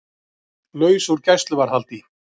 Laus úr gæsluvarðhaldi